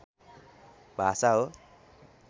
भाषा हो